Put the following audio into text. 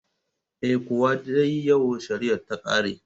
Eh, Kuwa dai yau shariya ta ƙare